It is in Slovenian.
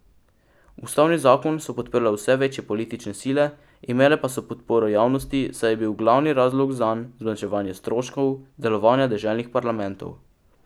Ustavni zakon so podprle vse večje politične sile, imele pa so podporo javnosti, saj je bil glavni razlog zanj zmanjšanje stroškov delovanja deželnih parlamentov.